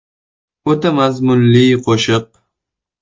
“O‘ta mazmunli qo‘shiq”.